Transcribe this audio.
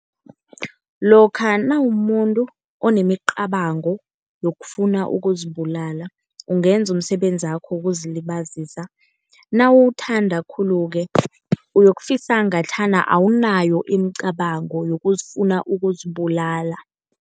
Lokha nawumumuntu onemicabango yokufuna ukuzibulala ungenza umsebenzakho wokuzilibazisa. Nawuwuthanda khulu-ke uyokufisa ngathana awunayo imicabango yokufuna ukuzibulala.